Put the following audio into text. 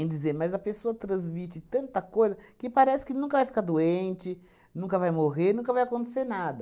em dizer, mas a pessoa transmite tanta coisa que parece que nunca vai ficar doente, nunca vai morrer, nunca vai acontecer nada.